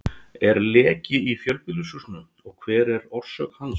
Er leki í fjölbýlishúsinu og hver er orsök hans?